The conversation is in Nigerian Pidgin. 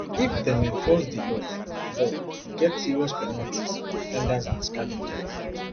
if dem enforce di law law e get serious penalties for offenders and scavengers